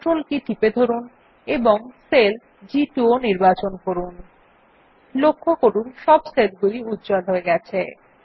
CTRL কী চেপে ধরুন এবং সেল জি2 ও নির্বাচন করুন লক্ষ্য করুন সব নির্বাচিত সেলগুলি উজ্জ্বল আছে